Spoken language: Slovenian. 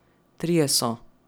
Trije so.